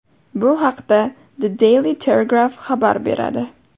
Bu haqda The Daily Telegraph xabar beradi.